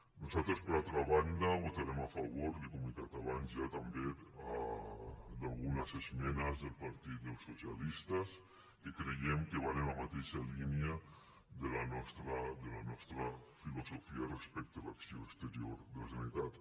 nosaltres per altra banda votarem a favor li ho he comentat abans ja també d’algunes esmenes del partit dels socialistes que creiem que van en la mateixa línia de la nostra filosofia respecte a l’acció exterior de la generalitat